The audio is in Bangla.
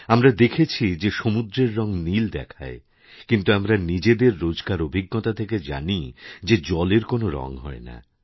আমরা দেখেছি যে সমুদ্রের রঙ নীল দেখায় কিন্তু আমরানিজেদের রোজকার অভিজ্ঞতা থেকে জানি যে জলের কোনও রঙ হয় না